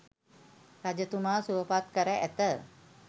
රජතුමා සුවපත් කර ඇත.